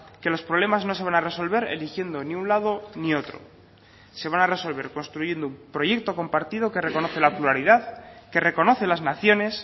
que los problemas no se van a resolver eligiendo ni un lado ni otro se van a resolver construyendo un proyecto compartido que reconoce la pluralidad que reconoce las naciones